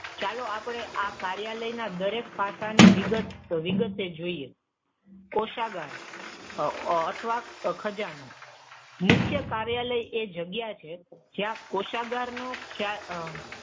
ચાલો આપણે આ કાર્યાલયના દરેક પાસા ને વિગતે જોઈએ. કોષાગાર અથવા ખજાનો. મુખ્ય કાર્યાલય એ જગ્યા છે જ્યાં કોષાગાર નો,